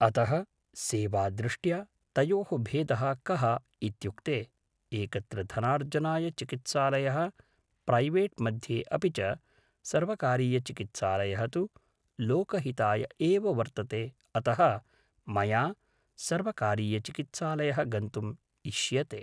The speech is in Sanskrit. अतः सेवादृष्ट्या तयोः भेदः कः इत्युक्ते एकत्र धनार्जनाय चिकित्सालयः प्रैवेट् मध्ये अपि च सर्वकारीयचिकित्सालयः तु लोकहिताय एव वर्तते अतः मया सर्वकारीयचिकित्सालयः गन्तुम् इष्यते